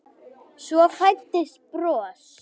Svo fæddist bros.